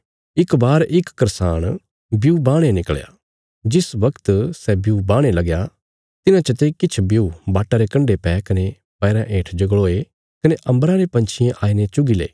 इक बार इक करसाण ब्यू बाहणे निकल़या जिस बगत सै ब्यू बाहणे लगया तिन्हां चते किछ ब्यू बाटा रे कण्डे पै कने पैराँ हेठ जगल़ोये कने अम्बरा रे पंछियें आईने चुगी ले